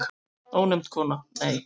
Ónefnd kona: Nei.